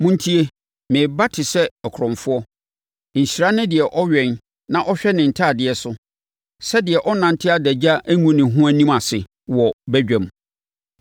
“Montie! Mereba te sɛ ɔkorɔmfoɔ. Nhyira ne deɛ ɔwɛn na ɔhwɛ ne ntadeɛ so, sɛdeɛ ɔrennante adagya ngu ne ho anim ase wɔ badwam!”